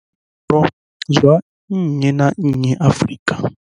Zwa nnyi na nnyi Afrika.